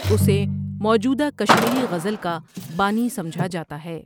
اسے موجودہ کشمیری غزل کا بانی سمجھا جاتا ہے ۔